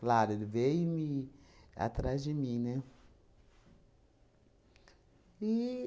Claro, ele veio me atrás de mim, né?